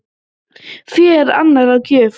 Fé er enn á gjöf